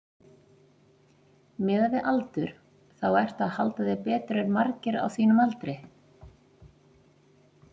Miðað við aldur þá ertu að halda þér betur en margir á þínum aldri?